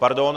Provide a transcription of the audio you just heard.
Pardon?